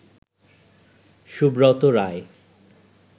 Subrata Roy